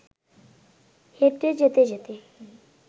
হেঁটে যেতে যেতে